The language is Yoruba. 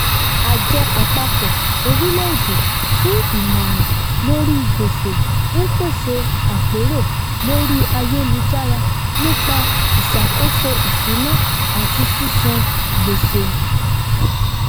àjọ àpapọ orílẹèdè fún ìmòràn lórí gbèsè ń pèsè àpérò lórí ayélujára nípá ìsàkósó ìṣúná ati sisan gbèsè